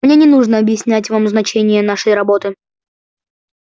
мне не нужно объяснять вам значение нашей работы